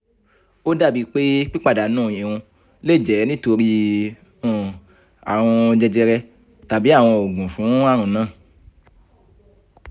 o dabi pe pipadanu irun le jẹ nitori um arun jejere tabi awọn oogun fun arun naa